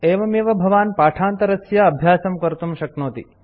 एवमेव भवान् पाठान्तरस्य अभ्यासं कर्तुं शक्नोति